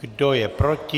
Kdo je proti?